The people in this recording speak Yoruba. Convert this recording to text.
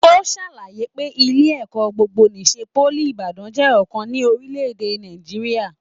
O ṣàlàyé pé ilé ẹ̀kọ́ gbogbo n'isè poly Ibadan jẹ ọkan ní orílẹ̀-èdè Nàìjíríà.